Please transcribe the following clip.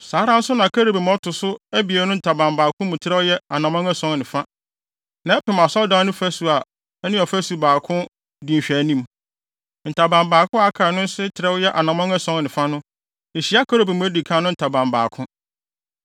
Saa ara nso na kerubim a ɔto so abien no ntaban baako mu trɛw yɛ anammɔn ason ne fa, na ɛpem Asɔredan no fasu a ɛne ɔfasu baako no di nhwɛanim. Ntaban baako a aka no nso trɛw a ɛyɛ anammɔn ason ne fa no, ehyia kerubim a edi kan no ntaban baako.